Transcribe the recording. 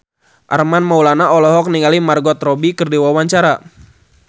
Armand Maulana olohok ningali Margot Robbie keur diwawancara